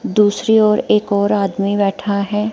दूसरी ओर एक और आदमी बैठा है।